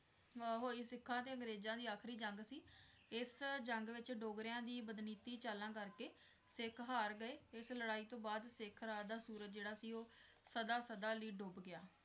ਅਹ ਹੋਈ ਸਿੱਖਾਂ ਤੇ ਅੰਗਰੇਜ਼ਾਂ ਦੀ ਆਖ਼ਰੀ ਜੰਗ ਸੀ, ਇਸ ਜੰਗ ਵਿਚ ਡੋਗਰਿਆਂ ਦੀਆਂ ਬਦਨੀਤ ਚਾਲਾਂ ਕਰ ਕੇ ਸਿੱਖ ਹਾਰ ਗਏ, ਇਸ ਲੜਾਈ ਤੋਂ ਬਾਅਦ ਸਿੱਖ ਰਾਜ ਦਾ ਸੂਰਜ ਜਿਹੜਾ ਸੀ ਉਹ ਸਦਾ ਸਦਾ ਲਈ ਡੁੱਬ ਗਿਆ।